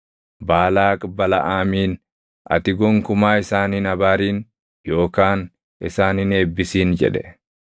Baalaaq Balaʼaamiin, “Ati gonkumaa isaan hin abaarin yookaan isaan hin eebbisin” jedhe.